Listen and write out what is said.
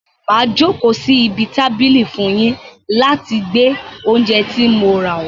Màá jókòó sí ibi tábìlì fún un yín láti gbé oúnjẹ tí mo rà wàá.